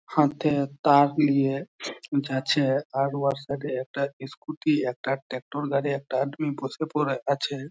হাতে তার লিয়ে যাচ্ছে আর ওর সাথে একটা ইস্কুটী একটা ট্যাকটর গাড়ি একটা বসে পরে আছে।